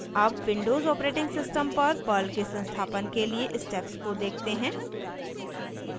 अब Windows operating system पर Perl के संस्थापन के लिए स्टेप्स को देखते हैं